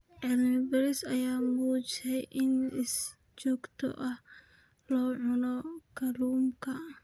Cilmi baaris ayaa muujisay in si joogto ah loo cuno kalluunka.